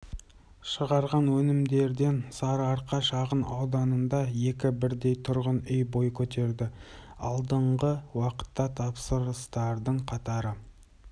шығарған өнімдерден сарыарқа шағын ауданында екі бірдей тұрғын үй бой көтерді алдағы уақытта тапсырыстардың қатары